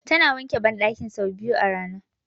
Tana wanke banɗakin sau biyu a rana